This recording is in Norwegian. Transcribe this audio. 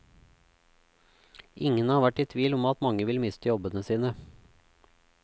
Ingen har vært i tvil om at mange vil miste jobbene sine.